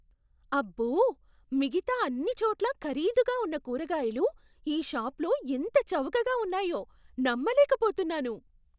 అబ్బో, మిగతా అన్ని చోట్లా ఖరీదుగా ఉన్న కూరగాయలు ఈ షాపులో ఎంత చవకగా ఉన్నాయో నమ్మలేకపోతున్నాను!